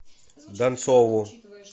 донцову